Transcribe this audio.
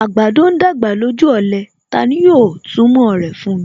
Àgbàdo ń dàgbà lójú ọ̀lẹ; Tani yóò túmọ̀ rẹ̀ fún mi.